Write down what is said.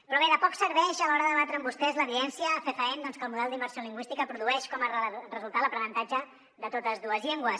però bé de poc serveix a l’hora de debatre amb vostès l’evidència fefaent doncs que el model d’immersió lingüística produeix com a resultat l’aprenentatge de totes dues llengües